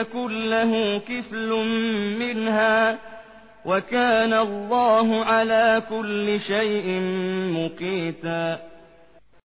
يَكُن لَّهُ كِفْلٌ مِّنْهَا ۗ وَكَانَ اللَّهُ عَلَىٰ كُلِّ شَيْءٍ مُّقِيتًا